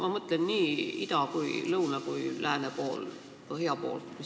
Ma mõtlen nii ida-, lõuna-, lääne- kui ka põhjanaabreid.